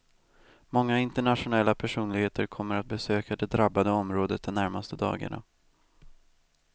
Många internationella personligheter kommer att besöka det drabbade området de närmaste dagarna.